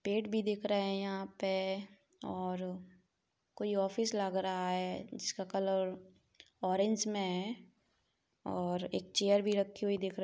पेड़ भी दिख रहे है यहाँ पे और और कोई ऑफिस लग रहा है जिसका कलर ऑरेंज में है और एक चेयर भी रखी हुई दिख र--